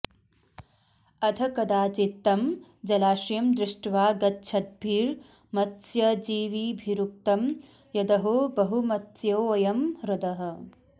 अथ कदाचित्तं जलाशयं दृष्ट्वा गच्छद्भिर्मत्स्यजीविभिरुक्तं यदहो बहुमत्स्योऽयं ह्रदः